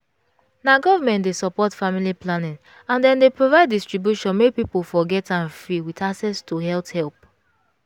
na government dey support family planning and dem dey provide distribution make people for get am free with access to health help.